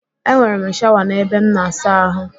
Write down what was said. Enwere m shawa n'ebe m na-asa ahụ